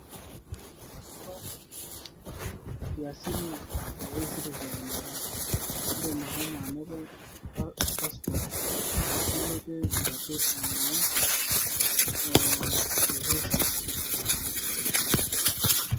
To nkiasin esitisen indim ashomo anoto passport nilotie enkuapi eboo ofisa.